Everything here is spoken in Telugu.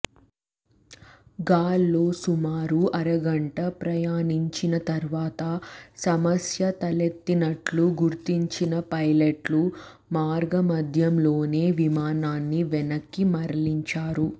గాల్లో సుమారు అరగంట ప్రయాణించిన తర్వాత సమస్య తలెత్తినట్లు గుర్తించిన పైలట్లు మార్గమద్యం లోనే విమానాన్ని వెనక్కి మళ్లించారు